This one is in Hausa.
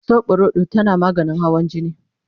soɓorodo tana maganin hawan jini